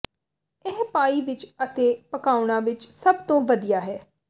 ਇਹ ਪਾਈ ਵਿੱਚ ਅਤੇ ਪਕਾਉਣਾ ਵਿੱਚ ਸਭ ਤੋਂ ਵਧੀਆ ਹੈ